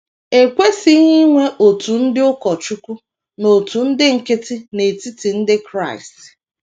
E kwesịghị inwe òtù ndị ụkọchukwu na òtù ndị nkịtị n’etiti ndị Kraịst.